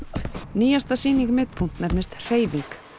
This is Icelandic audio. nýjasta sýning nefnist hreyfing